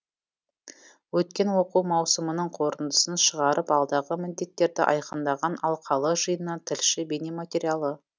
өткен оқу маусымының қорытындысын шығарып алдағы міндеттерді айқындаған алқалы жиыннан тілші бейнематериалы